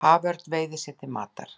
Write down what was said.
Haförn veiðir sér til matar.